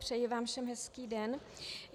Přeji vám všem hezký den.